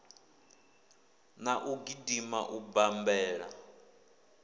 na u gidima u bammbela